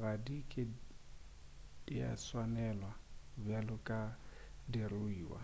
ga di ke di a swanelega bjalo ka diruiwa